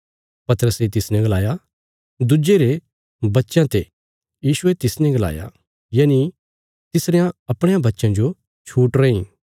पतरसे तिसने गलाया दुज्जे रे बच्चयां ते यीशुये तिसने गलाया यानि तिसरयां अपणयां बच्चयां जो छूट रैईं